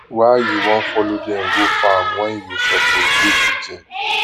why you wan follow dem go farm when you suppose dey kitchen